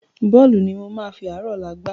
Bọ́ọ̀lù ni mo máa fàárọ̀ ọ̀la gbá